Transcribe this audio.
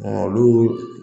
Ɔn olu